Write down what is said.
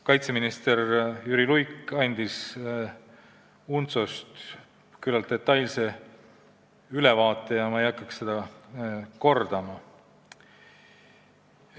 Kaitseminister Jüri Luik andis UNTSO-st küllalt detailse ülevaate ja ma ei hakka seda kordama.